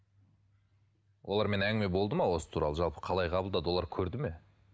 олармен әңгіме болды ма осы туралы жалпы қалай қабылдады олар көрді ме